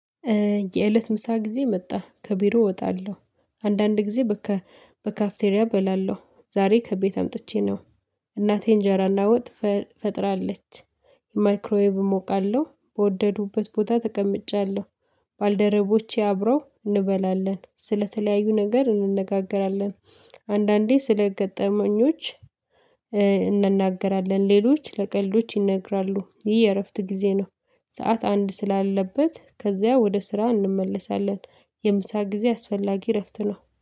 የእለት ምሳ ጊዜ መጣ ከቢሮ እወጣለሁ። አንዳንድ ጊዜ በካ በካፍቴሪያ እበላለሁ ዛሬ ከቤት አምጥቼ ነው። እናቴ እንጀራና ወጥ ፈጥራለች። ማይክሮይቭ እሞቃለሁ በወደዱበት ቦታ ተቀምጫለሁ። ባልደረቦቼ አብረው እንበላለን ስለተለያዩ ነገር እንነጋገራለን። አንዳንዴ ስለ ገጠመኞች እንነጋገራለን ሌሎች ለቀልዶች ይነግራሉ። ይህ የእረፍት ጊዜ ነው። ሰዓት አንድ ስላለበት ከዚያ ወደ ስራ እንመለሳለን። የምሳ ጊዜ አስፈላጊ እረፍት ነው